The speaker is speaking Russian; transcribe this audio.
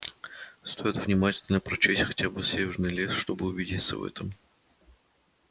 стоит внимательно прочесть хотя бы северный лес чтобы убедиться в этом